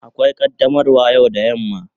Akwai qaddamarwa yau da yamma.